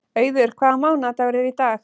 Auður, hvaða mánaðardagur er í dag?